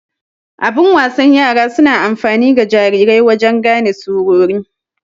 Abun wasan yara suna amfani ga jarirai wajen gane surori.